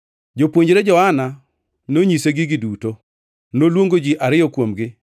Jopuonjre Johana nonyise gigi duto. Noluongo ji ariyo kuomgi,